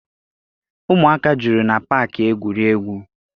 Ụmụaka juru na paakị egwuregwu.